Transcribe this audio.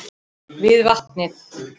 Við vatnið.